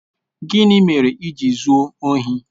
Gịnị mere i ji zuo ohi?